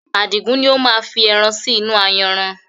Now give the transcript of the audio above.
Adigun ni ó máa fi ẹran sì inú ayanran